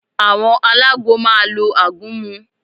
Àwọn alágbo máa lo àgúnmu